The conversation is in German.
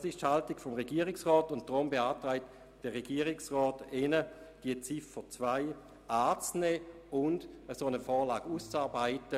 Das ist die Haltung des Regierungsrats, und deshalb beantragt er Ihnen, die Ziffer 2 anzunehmen und eine solche Vorlage auszuarbeiten.